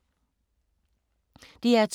DR2